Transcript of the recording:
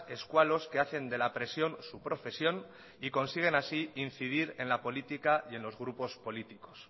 escualos que hacen de la presión su profesión y consiguen así incidir en la política y en los grupos políticos